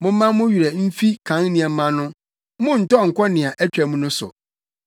“Momma mo werɛ mfi kan nneɛma no monntɔ nnkɔ nea atwam no so.